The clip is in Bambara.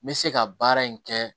N bɛ se ka baara in kɛ